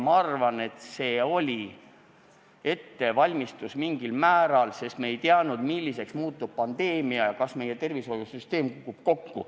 Ma arvan, et see oli mingil määral ettevalmistus, sest me ei teadnud, milliseks muutub pandeemia ja kas meie tervishoiusüsteem kukub kokku.